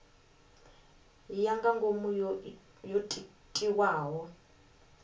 ya nga ngomu yo tiwaho